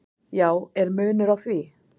"""Já, er munur á því?"""